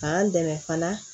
K'an dɛmɛ fana